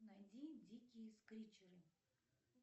найди дикие скричеры